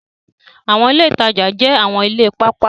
Awọn ile itaja jẹ awọn ile paapaa